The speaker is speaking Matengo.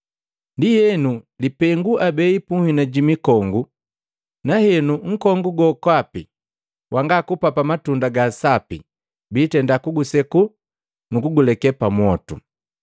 Ndienu, lipengu abei punhina ji mikongu, na henu nkongu gokapi wanga kupapa matunda ga sapi biitenda kuguseku nukuguleke pamwotu.”